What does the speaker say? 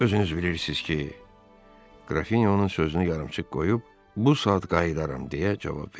Özünüz bilirsiz ki, Qrafinyonun sözünü yarımçıq qoyub bu saat qayıdaram deyə cavab verdi.